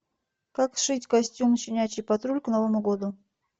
как сшить костюм щенячий патруль к новому году